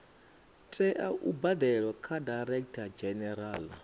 tea u badelwa kha directorgeneral